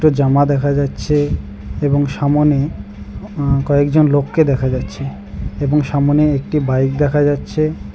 জামা দেখা যাচ্ছে এবং সামনে আ কয়েকজন লোককে দেখা যাচ্ছে এবং সামনে একটি বাইক দেখা যাচ্ছে।